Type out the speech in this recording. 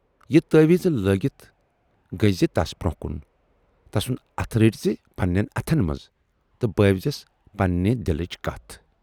یہِ تٲویٖز لٲگِتھ گٔژھۍزِ تَس برونہہ کُن، تسُند اَتھٕ رٔٹۍزِ پننٮ۪ن اَتھن منز تہٕ بٲوزٮ۪س پنٕنہِ دِلٕچ کتھ۔